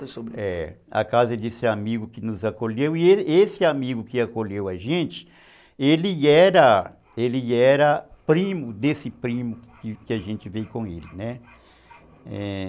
A casa desse amigo que nos acolheu e esse esse amigo que acolheu a gente, ele era ele era primo desse primo que a gente veio com ele, né, é